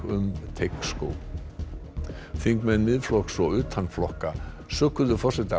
um Teigsskóg þingmenn Miðflokks og utan flokka sökuðu forseta